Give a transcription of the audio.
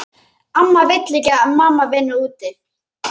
Amma vill ekki að mamma vinni úti.